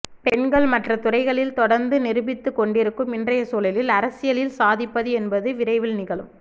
பெண்கள் மற்ற துறைகளில் தொடர்ந்து நிரூபித்துக் கொண்டிருக்கும் இன்றைய சூழலில் அரசியலில் சாதிப்பது என்பது விரைவில் நிகழும்